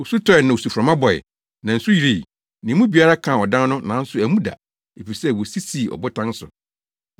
Osu tɔe, na osuframa bɔe, na nsu yirii, na emu biara kaa ɔdan no nanso ammu da, efisɛ wosi sii ɔbotan so.